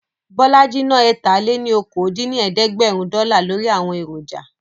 Bọ́lájí ná ẹ̀ta-lé-ní-okòó dín ní ẹ̀ẹ́dẹ́gbẹ́rún dọ́là lórí àwọn èròjà